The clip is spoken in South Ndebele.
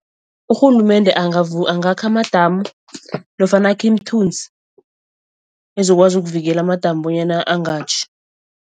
Urhulumende angakha amadamu nofana akhe imithunzi ezokwazi ukuvikela amadamu bonyana angatjhi.